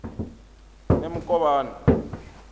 nemukovhani